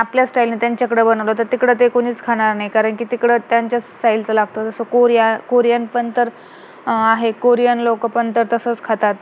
आपल्या style नि त्यांच्याकडे बनवलं तर तिकडं ते कोणीच खाणार नाही कारण कि तिकडं त्यांचं style च लागत जसं कोरिया, कोरियन पण तर आहे कोरियन लोक पण तर तसंच खातात